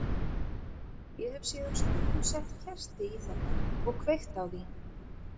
Ég hef síðan stundum sett kerti í þetta og kveikt á því.